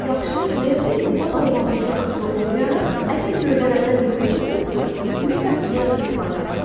Yaxşı və ya pis insan olmağınızdan asılı olmayaraq, əgər göydələndən yıxılmısınızsa, mütləq yenə çırpılacaqsınız.